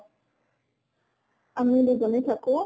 আমি দুজনী থাকো।